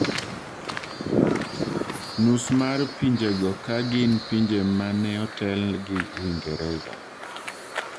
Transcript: Nus mar pinjego ka gin pinje maneotelgi Uingereza